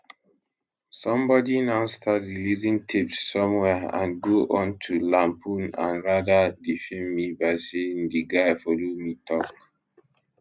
somebody now start releasing tapes somewhere and go on to lampoon and rather defame me by saying di guy follow me tok